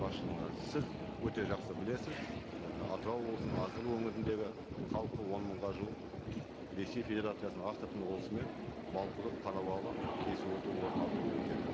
басшылығына сіз өте жақсы білесіз і атырау облысының азғыр өңіріндегі халқы он мыңға жуық ресей федерациясының астрахан облысымен балқұдық қарабалы кесіп өту орын өтеді